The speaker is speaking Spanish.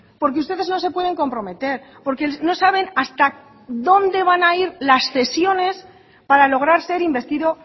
porque ustedes no se pueden comprometer porque no saben hasta dónde van a ir las cesiones para lograr ser investido